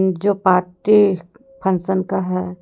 जो party function का है।